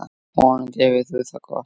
Vonandi hefur þú það gott.